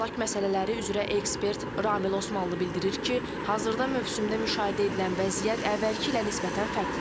Əmlak məsələləri üzrə ekspert Ramil Osmanlının bildirir ki, hazırda mövsümdə müşahidə edilən vəziyyət əvvəlki ilə nisbətən fərqlidir.